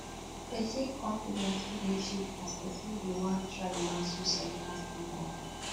pesin confidence fit dey shake as pesin dey wan try match societal standard